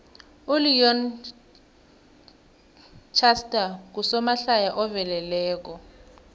uleon schuster ngusomahlaya oveleleko